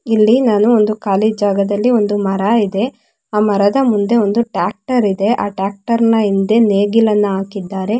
ಇಲ್ಲಿ ನಾನು ಒಂದು ಖಾಲಿ ಜಾಗದಲ್ಲಿ ಒಂದು ಮರ ಇದೆ ಆ ಮರದ ಮುಂದೆ ಒಂದು ಟ್ರ್ಯಾಕ್ಟರ್ ಇದೆ ಆ ಟ್ರ್ಯಾಕ್ಟರ್ ನಾ ಹಿಂದೆ ನೇಗಿಲನ್ನ ಹಾಕಿದ್ದಾರೆ.